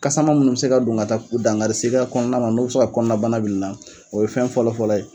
Kasaman munnu bɛ se ka don ka taa dankari se i ka kɔnɔna ma n'o be se ka kɔnɔna bana bila i la , o ye fɛn fɔlɔ fɔlɔ ye.